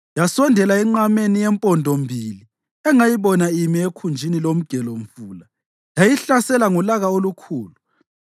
Yasondela enqameni yempondombili engayibona imi ekhunjini lomgelomfula yayihlasela ngolaka olukhulu.